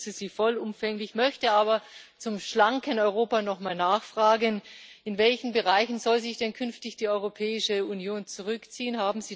Ich unterstütze Sie vollumfänglich, möchte aber zum schlanken Europa nochmal nachfragen In welchen Bereichen soll sich denn künftig die Europäische Union zurückziehen?